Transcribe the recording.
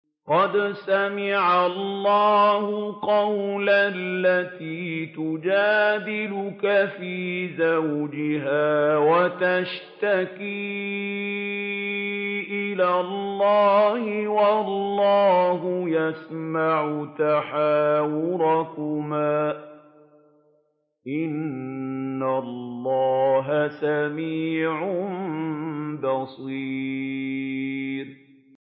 قَدْ سَمِعَ اللَّهُ قَوْلَ الَّتِي تُجَادِلُكَ فِي زَوْجِهَا وَتَشْتَكِي إِلَى اللَّهِ وَاللَّهُ يَسْمَعُ تَحَاوُرَكُمَا ۚ إِنَّ اللَّهَ سَمِيعٌ بَصِيرٌ